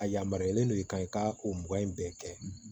A yamaruyalen don i kan i ka ko mugan in bɛɛ kɛ